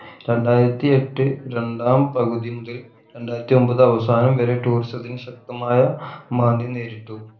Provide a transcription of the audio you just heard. രണ്ടായിരത്തിയെട്ട് രണ്ടാം പകുതി മുതൽ രണ്ടായിരത്തി ഒമ്പത് അവസാനം വരെ tourism ത്തിന് ശക്തമായ മാന്ദ്യം നേരിട്ടു